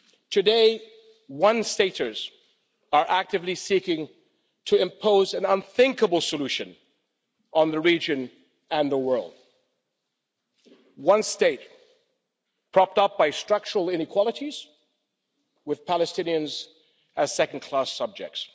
Today, one staters are actively seeking to impose an unthinkable solution on the region and the world one state, propped up by structural inequalities, with Palestinians as second class subjects